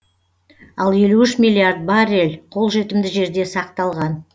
ал елу үш миллиард баррель қолжетімді жерде сақталған